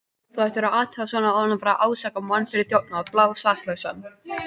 Þú ættir að athuga svona áður en þú ferð að ásaka mann fyrir þjófnað, blásaklausan.